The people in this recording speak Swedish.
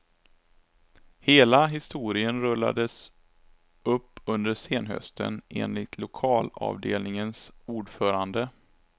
Hela historien rullades upp under senhösten, enligt lokalavdelningens ordförande.